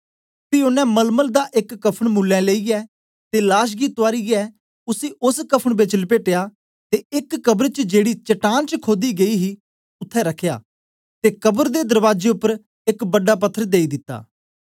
पी ओनें मलमल दा एक कफ़न मुल्लें लेईयै ते लाश गी तुआरीयै उसी ओस कफ़न बेच लपेटया ते एक कब्र च जेड़ी चट्टान च खोदी गेई हे उसी रखया ते कब्र दे दरबाजे उपर एक बड़ा पत्थर देई दिता